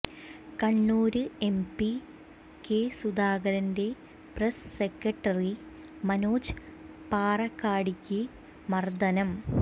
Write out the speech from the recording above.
Kannur M P K സുധാകരന്റെ press secretary Manoj പാറക്കാടിക്ക് മര്ദനം